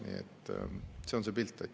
Nii et see on see pilt.